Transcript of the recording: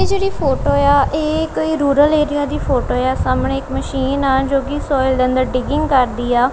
ਇਹ ਜਿਹੜੀ ਫੋਟੋ ਆ ਇਹ ਕੋਈ ਰੂਰਲ ਏਰੀਆ ਦੀ ਫੋਟੋ ਆ ਸਾਹਮਣੇ ਇੱਕ ਮਸ਼ੀਨ ਆ ਜੋ ਕਿ ਸੋਇਲ ਦੇ ਅੰਦਰ ਡਿਗਿੰਗ ਕਰਦੀ ਆ।